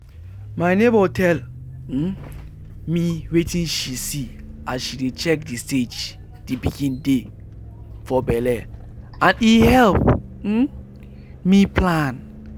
my neighbour tell um me wetin she see as she dey check the stage the pikin dey for belle and e help um me plan.